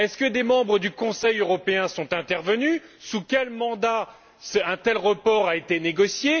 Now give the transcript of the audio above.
Est ce que des membres du Conseil européen sont intervenus? Sous quel mandat un tel report a t il été négocié?